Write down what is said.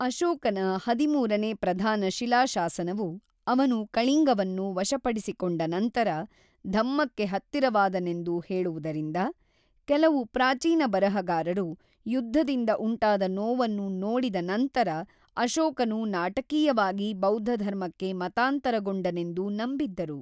ಅಶೋಕನ ಹದಿಮೂರನೇ ಪ್ರಧಾನ ಶಿಲಾಶಾಸನವು ಅವನು ಕಳಿಂಗವನ್ನು ವಶಪಡಿಸಿಕೊಂಡ ನಂತರ ಧಮ್ಮಕ್ಕೆ ಹತ್ತಿರನಾದನೆಂದು ಹೇಳುವುದರಿಂದ, ಕೆಲವು ಪ್ರಾಚೀನ ಬರಹಗಾರರು ಯುದ್ಧದಿಂದ ಉಂಟಾದ ನೋವನ್ನು ನೋಡಿದ ನಂತರ ಅಶೋಕನು ನಾಟಕೀಯವಾಗಿ ಬೌದ್ಧಧರ್ಮಕ್ಕೆ ಮತಾಂತರಗೊಂಡನೆಂದು ನಂಬಿದ್ದರು.